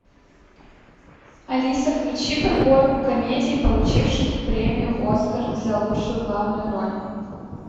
алиса включи подборку комедий получивших премию оскар за лучшую главную роль